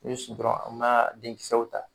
O be sigi dɔrɔn an ma denkisɛw ta